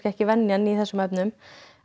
ekki venjan í þessum efnum